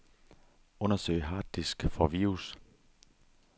Undersøg harddisk for virus.